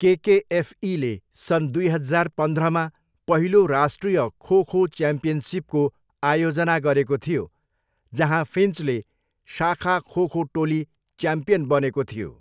केकेएफईले सन् दुई हजार पन्ध्रमा पहिलो राष्ट्रिय खो खो च्याम्पियनसिपको आयोजना गरेको थियो, जहाँ फिन्चले शाखा खो खो टोली च्याम्पियन बनेको थियो।